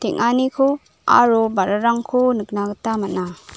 aro ba·rarangko nikna gita man·a.